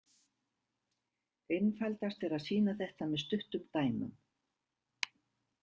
Einfaldast er að sýna þetta með stuttum dæmum.